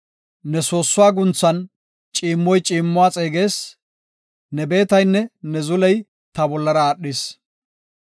Ne soossuwa guunthan ciimmoy ciimmuwa xeegees; ne beetaynne ne zuley ta bollara aadhis.